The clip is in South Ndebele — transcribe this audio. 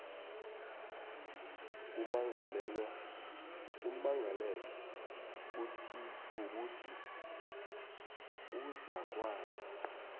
kummangalelwa kukuthi uzakwazi